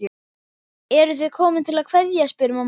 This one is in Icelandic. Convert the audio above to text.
Eruð þið komin til að kveðja, spyr mamma.